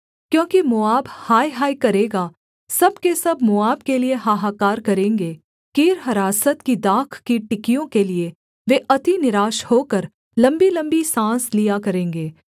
क्योंकि मोआब हाय हाय करेगा सब के सब मोआब के लिये हाहाकार करेंगे कीरहरासत की दाख की टिकियों के लिये वे अति निराश होकर लम्बीलम्बी साँस लिया करेंगे